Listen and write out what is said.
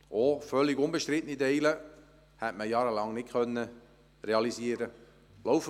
Auch völlig unbestrittene Teile hätte man jahrelang nicht realisieren können.